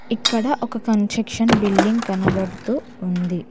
ఇక్కడ ఒక construction building కనబడుతూ ఉంది.